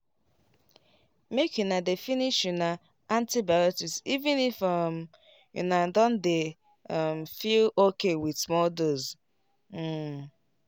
make una dey finish una antibiotics even if um una don dey um feel okay with small dose. um